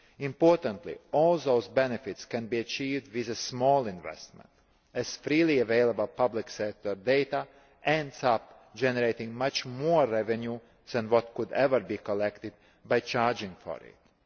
Importantly, all those benefits can be achieved with a small investment, as freely available public sector data ends up generating much more revenue than could ever be collected by charging for it.